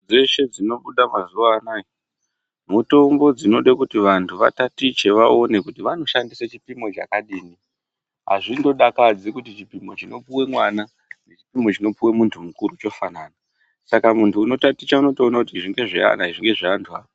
Dzeshe dzinobuda mazuwa anaya mitombo dzinoda kuti vantu vatatiche vaone kuti vantu vanoshandise chipimo chakadini, azvindodakadzi kuti chipimo chinopuwa mwana nechipimo chinopuwa munhu mukuru chofanana, saka muntu unotaticha unotoona kuti izvi ngezveana izvi ngezve antu a..